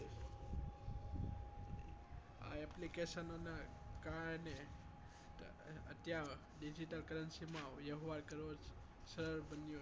આ application નો ના કારણે અત્યારે digital currency માં વહેવાર કરવો સરળ બન્યો